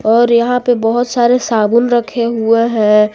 और यहां पे बहुत सारे साबुन रखे हुए हैं।